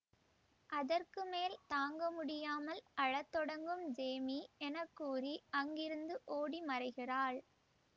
அதற்கு மேல் தாங்க முடியாமல் அழ தொடங்கும் ஜேமீ என கூறி அங்கிருந்து ஓடி மறைகிறாள்